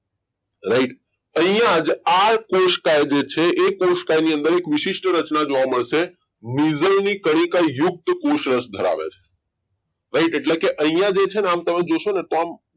right અહીંયા જ આ કોષકે જે છે એ કોષકાની અંદર એક વિશિષ્ટ રચના જોવા મળશે નિર્જળની કડી કા યુક્ત એ કોષ રસ ધરાવે છે right એટલે કે અહીંયા જે છે ને આમ તમે જોશો ને તો આમ